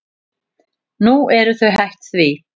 Nú eru þau hætt því.